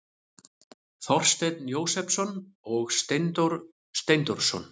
Þorsteinn Jósepsson og Steindór Steindórsson.